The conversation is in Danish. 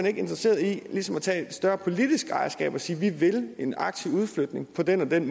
ikke interesseret i ligesom at tage et større politisk ejerskab og sige vi vil en aktiv udflytning på den